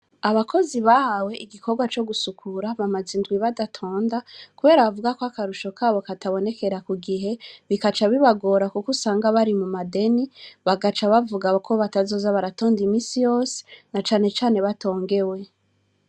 Abakozi bahawe igikorwa co gusukura bamaza indwi badatonda, kubera bavuga ko akarusho kabo katabonekera ku gihe bikaca bibagora, kuko usanga bari mu madeni bagaca bavugako batazoza baratonda imisi yose na canecane batongewe.